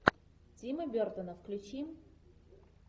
тима бертона включи